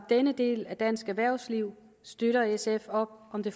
denne del af dansk erhvervsliv støtter sf op om det